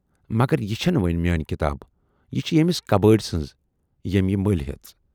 مگر یہِ چھَنہٕ وۅنۍ میٲنۍ کِتاب، یہِ چھِ ییمِس کبٲڑۍ سٕنز ییمۍ یہِ مٔلۍ ہٮ۪ژ۔